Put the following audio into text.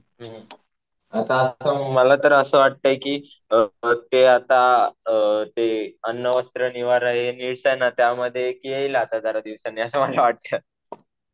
हम्म. आता तर मला तर असं वाटतंय कि अ ते आता अ ते अन्न, वस्त्र, निवारा हे नीड्स आहे ना त्याच्यामध्ये येईल आता जरा दिवसांनी